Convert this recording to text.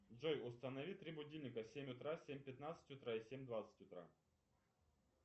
джой установи три будильника семь утра семь пятнадцать утра и семь двадцать утра